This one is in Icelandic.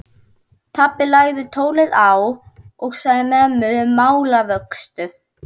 Pabbi lagði tólið á og sagði mömmu málavöxtu.